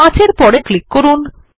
৫ এর পরে ক্লিক করুন